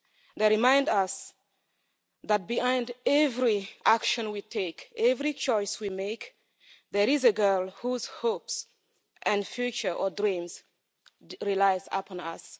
They remind us that behind every action we take, every choice we make, there is a girl whose hopes and future or dreams rely upon us.